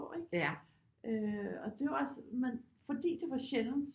Ikke øh og det er jo også men fordi det var sjældent